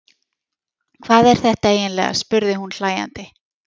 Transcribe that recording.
Hvað er þetta eiginlega, spurði hún hlæjandi.